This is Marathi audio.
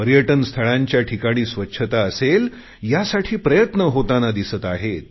पर्यटन स्थळांच्या ठिकाणी स्वच्छता असेल यासाठी प्रयत्न होतांना दिसतात